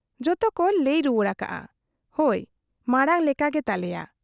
ᱡᱚᱛᱚ ᱠ ᱞᱟᱹᱭ ᱨᱩᱣᱟᱹᱲ ᱟᱠᱟᱜᱼᱟ , ᱦᱚᱭ ᱢᱟᱬᱟᱝ ᱞᱮᱠᱟᱜᱮ ᱛᱟᱞᱮᱭᱟ ᱾